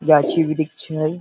गाछी वृक्षी हई।